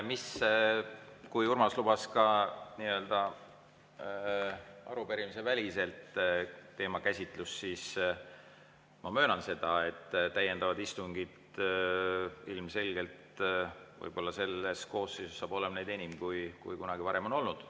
Kui Urmas lubas ka nii-öelda arupärimisvälist teemakäsitlust, siis ma möönan, et täiendavaid istungeid ilmselgelt võib-olla saab selles koosseisus olema rohkem, kui kunagi varem on olnud.